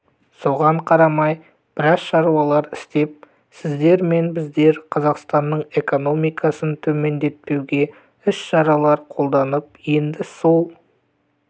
соған қарамай біраз шаруалар істеп сіздер мен біздер қазақстанның экономикасын төмендетпеуге іс-шаралар қолдандық енді сол